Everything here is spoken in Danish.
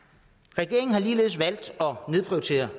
regeringen har ligeledes valgt at nedprioritere